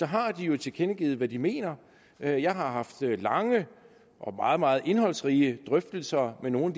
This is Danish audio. har jo tilkendegivet hvad de mener jeg jeg har haft lange og meget meget indholdsrige drøftelser med nogle